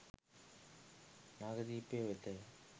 නාගදීපය වෙතය.